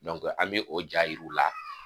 an bi o ja yiri u la.